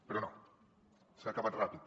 però no s’ha acabat ràpid